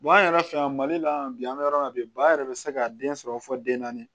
an yɛrɛ fɛ yan mali la yan bi an bɛ yɔrɔ min na bi ba yɛrɛ bɛ se ka den sɔrɔ fɔ den naani